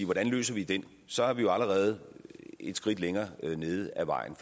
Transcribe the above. hvordan løser vi den så er vi jo allerede et skridt længere nede ad vejen